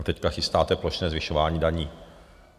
A teď chystáte plošné zvyšování daní.